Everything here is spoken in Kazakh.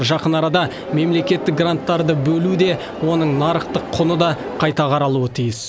жақын арада мемлекеттік гранттарды бөлу де оның нарықтық құны да қайта қаралуы тиіс